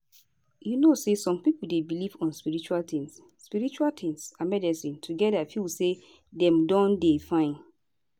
you know say some pipo dey belief on spiritual tins spiritual tins and medicine together to feel say dem don dey fine